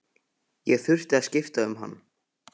Ég þurfti að skipta um hann.